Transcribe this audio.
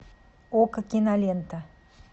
окко кинолента